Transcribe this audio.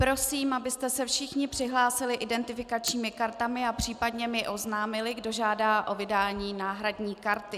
Prosím, abyste se všichni přihlásili identifikačními kartami a případně mi oznámili, kdo žádá o vydání náhradní karty.